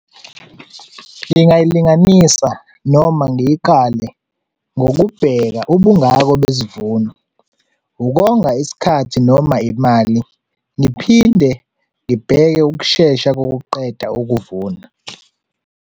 Ngingayilinganisa noma ngiyikale ngokubheka ubungako besivuno, ukonga isikhathi noma imali. Ngiphinde ngibheke ukushesha kokuqeda ukuvuna.